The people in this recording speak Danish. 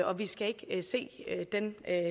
og vi skal ikke se den